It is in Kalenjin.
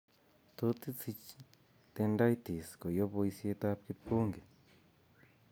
Tot isich tendinitis koyob boisiet ab kipkongi